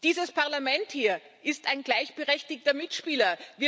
Dieses Parlament hier ist ein gleichberechtigter Mitspieler.